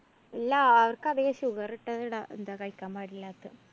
ഇല്ല. അവര്‍ക്കധികം sugar ഇട്ടത് ഇട എന്താ കഴിക്കാന്‍ പാടില്ലാത്തത്.